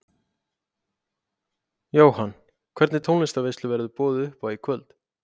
Jóhann: Hvernig tónlistarveislu verður boðið upp á í kvöld?